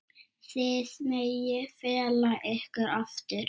Þið megið fela ykkur aftur.